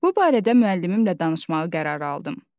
Bu barədə müəllimimlə danışmağı qərarı aldım.